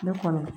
Ne kɔnɔ